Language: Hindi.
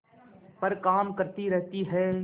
पर काम करती रहती है